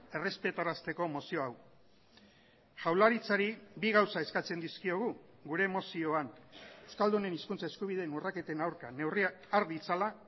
errespetarazteko mozio hau jaurlaritzari bi gauza eskatzen dizkiogu gure mozioan euskaldunen hizkuntza eskubideen urraketen aurka neurriak har ditzala